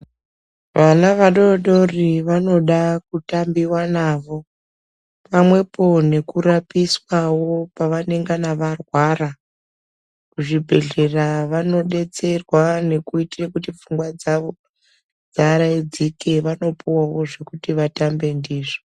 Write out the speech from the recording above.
Vana vadodori vanoda kutambiwa navo pamwepo nekurapiswawo pavanengana varwara, kuzvibhedhlera vanodetserwa nekuitire kuti pfungwa dzawo dziaraidzike vanopuwawo zvekuti vatambe ndizvo.